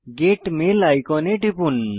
gate mail আইকনে টিপুন